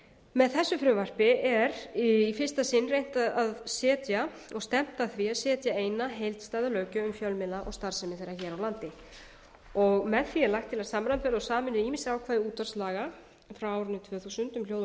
með þessu frumvarpi er í fyrsta sinn reynt að setja og stefnt að því að setja eina heildstæða löggjöf um fjölmiðla og starfsemi þeirra hér á landi með því er lagt til að samræma og sameina ýmis ákvæði útvarpslaga frá árinu tvö þúsund um hljóð og